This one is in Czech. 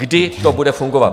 Kdy to bude fungovat?